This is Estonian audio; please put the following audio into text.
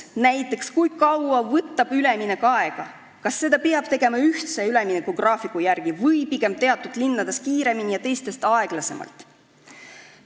Näiteks, kui kaua võtab üleminek aega, kas seda peab tegema ühtse üleminekugraafiku järgi või pigem teatud linnades kiiremini ja teistes aeglasemalt?